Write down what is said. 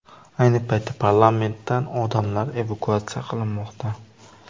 Ayni paytda parlamentdan odamlar evakuatsiya qilinmoqda.